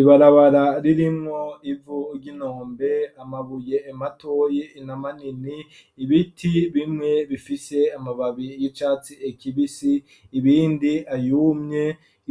Ibarabara ririmwo ivu ry'inombe amabuye ematoyi inamanini ibiti bimwe bifise amababi y'icatsi ekibisi ibindi ayumye